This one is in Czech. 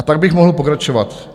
A tak bych mohl pokračovat.